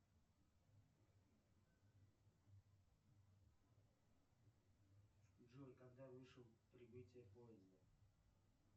джой когда вышел прибытие поезда